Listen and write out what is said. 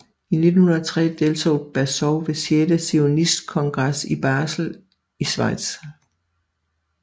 I 1903 deltog Baazov ved sjette zionistkongres i Basel i Schweiz